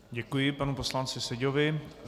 Děkuji panu poslanci Seďovi.